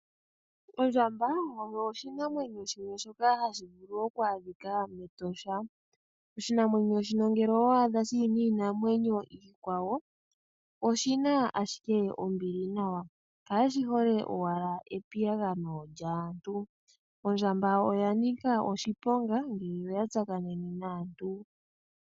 Ondjamba oyo oshinamwenyo shimwe shoka hashi vulu oku adhika mEtosha. Oshinamwenyo shino ngele owa adha shi li niinamwenyo iikwawo, oshi na ashike ombili nawa. Kashi hole owala epiyagano lyaantu. Ondjamba oya nika oshiponga ngele oya tsakanene naantu.